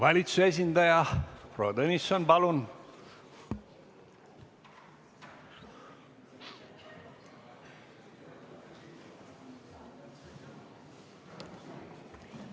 Valitsuse esindaja, proua Tõnisson, palun!